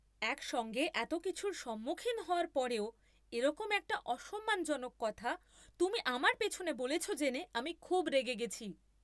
একসঙ্গে এত কিছুর সম্মুখীন হওয়ার পরেও এরকম একটা অসম্মানজনক কথা তুমি আমার পিছনে বলেছ জেনে আমি খুব রেগে গেছি।